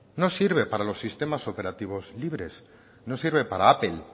windows no sirve para los sistemas operativos libres no sirve para apple